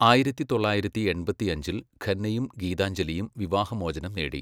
ആയിരത്തി തൊള്ളായിരത്തി എൺപത്തിയഞ്ചിൽ ഖന്നയും ഗീതാഞ്ജലിയും വിവാഹമോചനം നേടി.